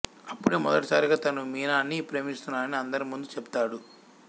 అప్పుడె మొదటిసారిగా తను మీనాని ప్రేమిస్తున్నాని అందరి ముందూ చెప్తాడు